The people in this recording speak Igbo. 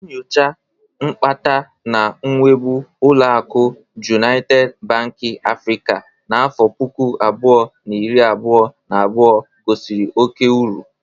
Nyocha nkpata na nwebụ oluakụ Jụnaịted Banki Afrịka n'afọ puku abụọ, na iri abụọ na abụo gosiri oke uru.